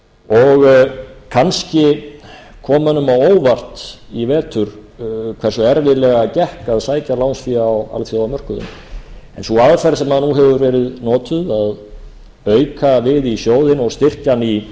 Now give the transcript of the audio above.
og kannski kom mönnum á óvart í vetur hversu erfiðlega gekk að sækja lánsfé á alþjóðamörkuðum en sú aðferð sem nú hefur verið notuð að auka við í sjóðinn og styrkja hann í